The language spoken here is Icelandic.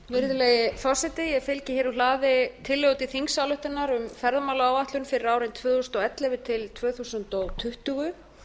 virðulegi forseti ég fylgi hér úr hlaði tillögu til þingsályktunar um ferðamálaáætlun fyrir árin tvö þúsund og ellefu tvö þúsund tuttugu